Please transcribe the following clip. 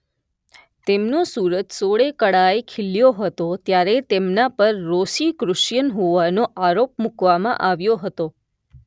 તેમનો સૂરજ સોળે કળાએ ખીલ્યો હતો ત્યારે તેમના પર રોસીક્રુસિયન હોવાનો આરોપ મૂકવામાં આવ્યો હતો